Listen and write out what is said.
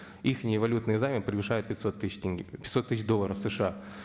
валютные займы превышают пятьсот тысяч долларов сша